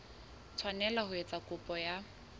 tshwanela ho etsa kopo ya